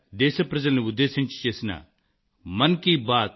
2016 లో ఇది మొదటి మన్ కీ బాత్